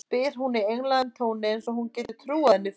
spyr hún í einlægum tóni eins og hann geti trúað henni fyrir því.